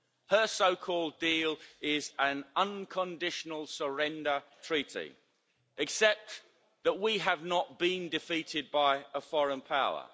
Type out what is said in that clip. Her so called deal is an unconditional surrender treaty, except that we have not been defeated by a foreign power.